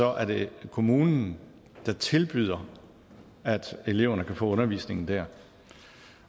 er det kommunen der tilbyder at eleverne kan få undervisningen der